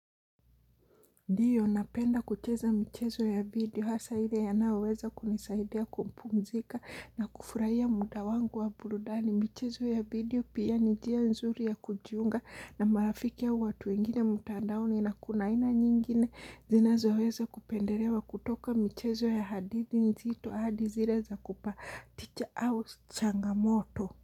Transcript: Ndiyo napenda kucheza michezo ya video hasa hile ya naweza kunisaidea kumpumzika na kufurahia muda wangu wa burudani michezo ya video pia nijia nzuri ya kujiunga na marafiki ya watu ingine mtandaoni na kunaina nyingine zinazo weza kupenderewa kutoka michezo ya hadithi nzito ahadi zile za kupa teacher house changamoto.